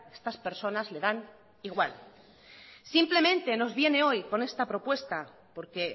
estas personas le dan igual simplemente nos viene hoy con esta propuesta porque